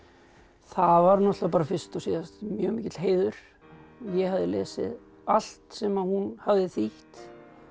það var náttúrulega fyrst og síðast mjög mikill heiður ég hafði lesið allt sem hún hafði þýtt